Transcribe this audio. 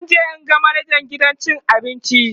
zanje in ga manajan gidan cin abincin